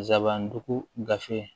Zabandugu gafe